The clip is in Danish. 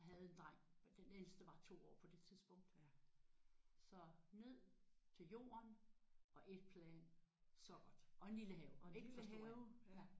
Jeg havde en dreng den ældste var 2 år på det tidspunkt. Så ned til jorden og 1 plan. Så godt. Og en lille have og ikke for stor have